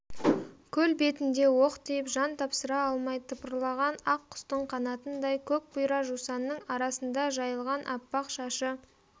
көл бетінде оқ тиіп жан тапсыра алмай тыпырлаған ақ құстың қанатындай көк бұйра жусанның арасында жайылған аппақ шашы